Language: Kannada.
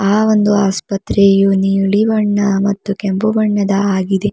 ಆ ಒಂದು ಆಸ್ಪತ್ರೆಯು ನೀಲಿ ಬಣ್ಣ ಮತ್ತು ಕೆಂಪು ಬಣ್ಣದ ಆಗಿದೆ.